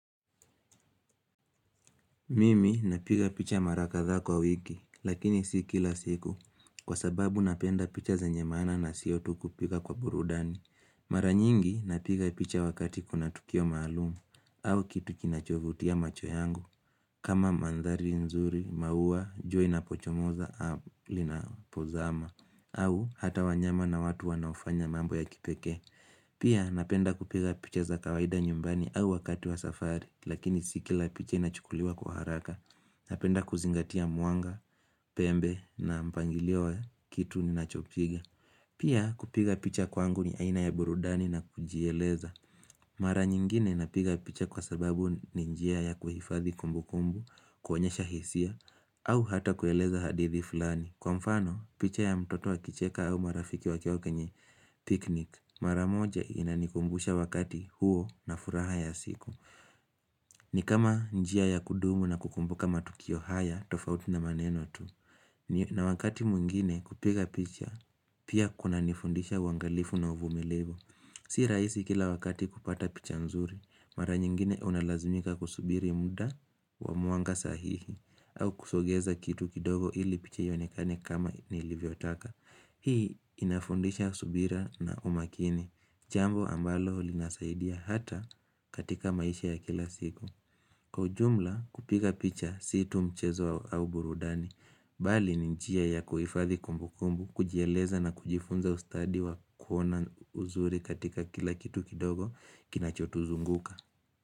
Mimi napiga picha mara kadhaa kwa wiki, lakini si kila siku, kwa sababu napenda picha zenye maana na sio tu kupiga kwa burudani. Mara nyingi napiga picha wakati kuna tukio maalum, au kitu kinachovutia macho yangu, kama mandhari nzuri, maua, jua inapochomoza, au linapozama, au hata wanyama na watu wanaofanya mambo ya kipekee. Pia napenda kupiga picha za kawaida nyumbani au wakati wa safari lakini si kila picha inachukuliwa kwa haraka Napenda kuzingatia mwanga, pembe na mpangilio wa kitu ninachopiga Pia kupiga picha kwangu ni aina ya burudani na kujieleza Mara nyingine napiga picha kwa sababu ni njia ya kuhifadhi kumbukumbu, kuonyesha hisia au hata kueleza hadithi fulani Kwa mfano picha ya mtoto akicheka au marafiki wakiwa kwenye picnic maramoja inanikumbusha wakati huo na furaha ya siku ni kama njia ya kudumu na kukumbuka matukio haya tofauti na maneno tu na wakati mwingine kupiga picha pia kunanifundisha uangalifu na uvumilivu Si rahisi kila wakati kupata picha nzuri Mara nyingine unalazmika kusubiri muda wa mwanga sahihi au kusogeza kitu kidogo ili picha ionekane kama nilivyotaka Hii inafundisha subira na umakini Jambo ambalo linasaidia hata katika maisha ya kila siku Kwa ujumla kupika picha si tu mchezo au burudani Bali ni njia ya kuhifadhi kumbukumbu kujieleza na kujifunza ustadi wa kuona uzuri katika kila kitu kidogo Kinachotuzunguka.